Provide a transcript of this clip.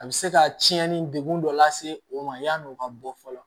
A bɛ se ka cɛnni degun dɔ lase o ma yan'o ka bɔ fɔlɔ